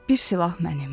bir silah mənim.